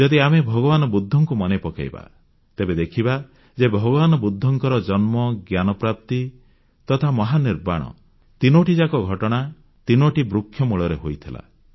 ଯଦି ଆମେ ଭଗବାନ ବୁଦ୍ଧଙ୍କୁ ମନେ ପକାଇବା ତେବେ ଦେଖିବା ଯେ ଭଗବାନ ବୁଦ୍ଧଙ୍କର ଜନ୍ମ ଜ୍ଞାନପ୍ରାପ୍ତି ତଥା ମହାନିର୍ବାଣ ତିନୋଟି ଯାକ ଘଟଣା ତିନୋଟି ବୃକ୍ଷ ମୂଳରେ ହୋଇଥିଲା